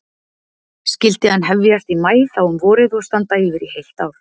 Skyldi hann hefjast í maí þá um vorið og standa yfir í heilt ár.